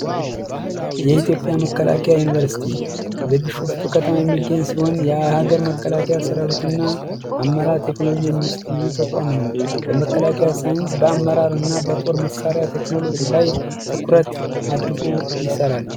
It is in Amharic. የኢትዮጵያ መከላከያ ዩኒቨርስቲ የሚገኝ ሲሆን የሀገር መከላከያ ሰራዊትና አመራር ቴክኖሎጂ በመከላከያ ሳይንስ በአመራር እና በጦር መሳሪያ ቴክኖሎጂ ላይ ትኩረት አድርጎ ይሰራል።